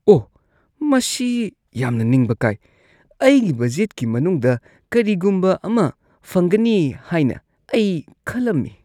ꯑꯣꯍ, ꯃꯁꯤ ꯌꯥꯝꯅ ꯅꯤꯡꯕ ꯀꯥꯏ ꯫ ꯑꯩꯒꯤ ꯕꯖꯦꯠꯀꯤ ꯃꯅꯨꯡꯗ ꯀꯔꯤꯒꯨꯝꯕ ꯑꯃ ꯐꯪꯒꯅꯤ ꯍꯥꯏꯅ ꯑꯩ ꯈꯜꯂꯝꯃꯤ ꯫